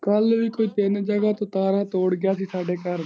ਕੱਲ ਵੀ ਕੋਈ ਤਿੰਨ ਜਗਾਂ ਤੋਂ ਤਾਰਾਂ ਤੋੜ ਗਿਆ ਸੀ ਸਾਡੇ ਘਰ।